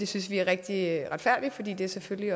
synes vi er rigtig retfærdigt for det det er selvfølgelig